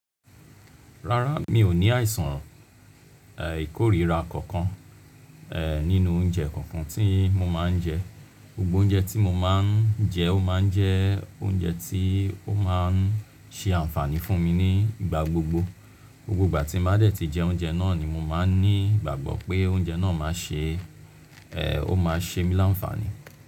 Rárá, mi ò ní àìsàn ìkórira kankan, ẹ́ nínú oúnjẹ kankan tí mo máa ń jẹ. Gbogbo oúnjẹ tí mo máa ń jẹ ó máa ń jẹ oúnjẹ tí ó máa ń ṣe àǹfààní fún mi ní ìgbà gbogbo. Gbogbo ìgbà tí mo bá dẹ̀ tí jẹ oúnjẹ náà ni mo máa ń ní ìgbàgbọ́ pé oúnjẹ náà máa ṣe, ẹ́ ó máa ṣe mi láǹfààní.